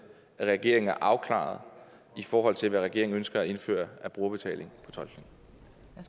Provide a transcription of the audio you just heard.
at regeringen er afklaret i forhold til hvad regeringen ønsker at indføre af brugerbetaling